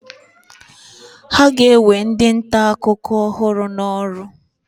Ha ga-ewe ndị nta akụkọ ọhụrụ n'ọrụ?